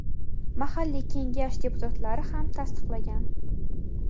mahalliy kengash deputatlari ham tasdiqlagan.